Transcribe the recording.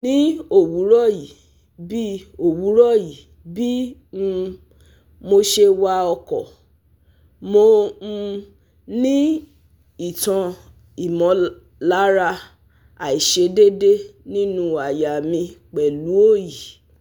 Ni owuroyi bi owuroyi bi um mose wa oko, mo um ni itan imolara aisedede ninu aya mi pelu oyi